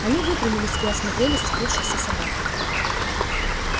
они выпрямились и осмотрели сцепившихся собак